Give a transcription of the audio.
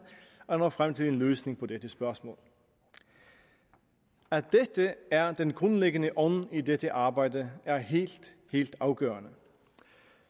at nå frem til en løsning på dette spørgsmål at dette er den grundlæggende ånd i dette arbejde er helt helt afgørende